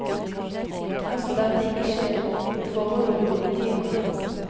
Dersom dette ikke skjer, vil forholdet bli politianmeldt.